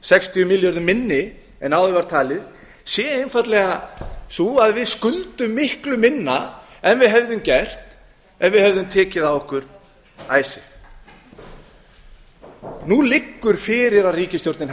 sextíu milljörðum minni en áður var talið sé einfaldlega sú að við skuldum miklu minna en við hefðum gert ef við hefðum tekið á okkur icesave nú liggur fyrir að ríkisstjórnin